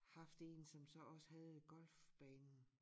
Haft en som så også havde golfbanen